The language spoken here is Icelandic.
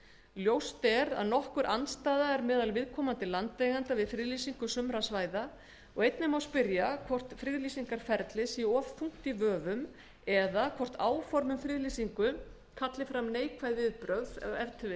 ljóst er að nokkur andstaða er við friðlýsingu sumra svæða og einnig má spyrja hvort friðlýsingarferlið sé of þungt í vöfum eða hvort áform um friðlýsingu kalli fram neikvæð viðbrögð kannski að